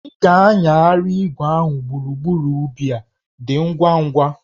Ị ga-anyagharị igwe ahụ gburugburu ubi a, dị ngwa ngwa!